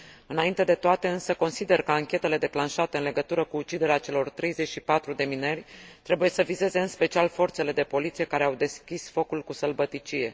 Înainte de toate, însă, consider că anchetele declanșate în legătură cu uciderea celor 34 de mineri trebuie să vizeze, în special, forțele de poliție, care au deschis focul cu sălbăticie.